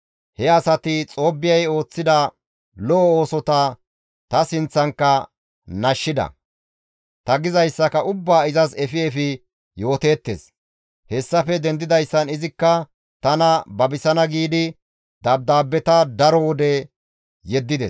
He asati Xoobbiyay ooththida lo7o oosota ta sinththankka nashshida; ta gizayssaka ubbaa izas efi efi yooteettes; hessafe dendidayssan izikka tana babisana giidi dabdaabbeta daro wode yeddides.